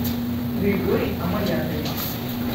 григорий амаякович